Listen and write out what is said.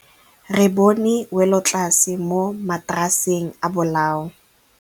Re bone wêlôtlasê mo mataraseng a bolaô.